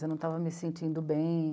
Eu não estava me sentindo bem.